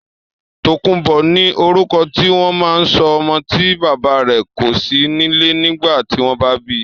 Tòkunbó ni orúkọ tí wọ́n ma ń sọ ọmọ tí bàbá rè kò sí nílé nìgbà tí wọ́n bi